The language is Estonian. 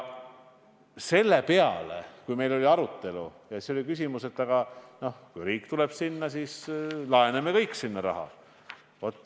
Selle peale tekkis arutelu käigus küsimus, et kui riik tuleb kampa, siis laename kõik sinna raha.